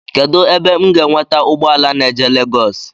Kedụ ebe m ga enweta ụgbọala na-eje Legoosi?